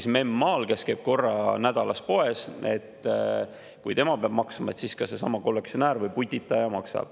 Sest kui näiteks memm maal, kes käib korra nädalas poes, peab maksma, peaksid maksma ka need kollektsionäärid või putitajad.